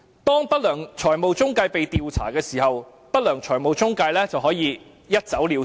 當不良財務中介被調查時，不良財務中介便可以一走了之。